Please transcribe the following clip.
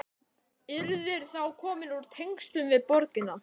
Yrðir þá komin úr tengslum við borgina.